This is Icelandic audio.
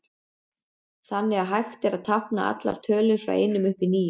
Þannig er hægt að tákna allar tölur frá einum upp í níu.